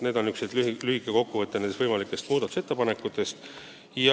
See oli lühike kokkuvõte muudatusettepanekutest.